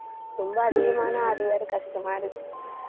ரொம்ப அதிகமானா அது வேற கஷ்டமா இருக்கு.